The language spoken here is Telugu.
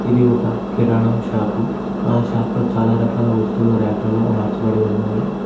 ఇది ఒక కిరణం షాపు ఆ షాపు లో చాలా రకాల వస్తువులు ర్యాక్లలో అమర్చబడి ఉన్నాయి.